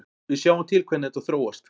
Við sjáum til hvernig þetta þróast.